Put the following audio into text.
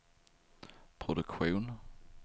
produktion